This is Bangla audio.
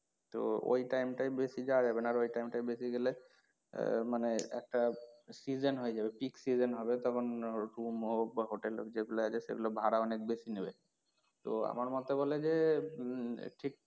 তো ওই time টায় বেশি যাওয়া যাবে না আর ওই time টায় বেশি গেলে আহ মানে একটা season হয়ে যাবে pick season তখন বা হোটেল যেগুলো আছে সেগুলোর ভাড়া অনেক বেশি নেবে তো আমার মতে বলে যে উম